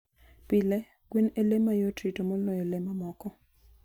Pile, gwen e le ma yot rito moloyo le mamoko.